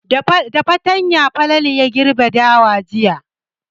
Da fatanya Falalu ya girbe dawa jiya.